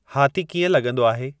हाथी कीअं लॻंदो आहे